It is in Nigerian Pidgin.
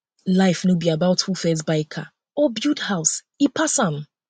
life no be about who first buy car or build house e pass am